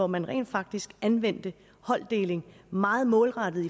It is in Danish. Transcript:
man rent faktisk anvendte holddeling meget målrettet